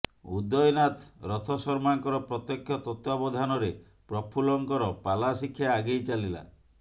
ଉଦୟନାଥ ରଥଶର୍ମାଙ୍କର ପ୍ରତ୍ୟକ୍ଷ ତତ୍ୱାବଧାନରେ ପ୍ରଫୁଲ୍ଲଙ୍କର ପାଲା ଶିକ୍ଷା ଆଗେଇ ଚାଲିଲା